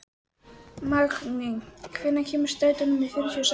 Magney, hvenær kemur strætó númer fjörutíu og sex?